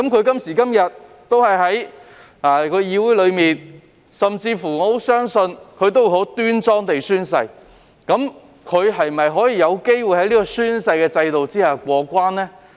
今時今日他們依然在議會內，我甚至乎相信他們會很端莊地宣誓，但他們是否有機會在這個宣誓制度下過關呢？